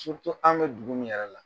an' be dugu min yɛrɛ la.